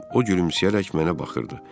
O gülümsəyərək mənə baxırdı.